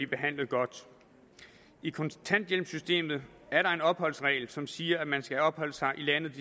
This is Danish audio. behandlet godt i kontanthjælpssystemet er der en opholdsregel som siger at man skal have opholdt sig i landet